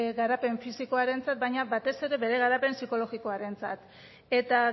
garapen fisikoarentzat baina batez ere bere garapen psikologiakorentzat eta